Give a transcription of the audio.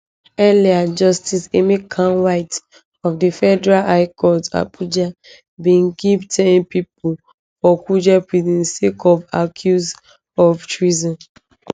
earlier justice emeka nwite of di federal high court abuja bin keep ten pipo for kuje prison sake of accuse of treason